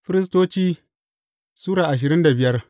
Firistoci Sura ashirin da biyar